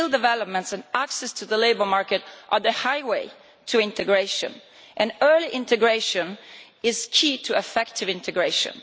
Skill development and access to the labour market are the highway to integration, and early integration is key to effective integration.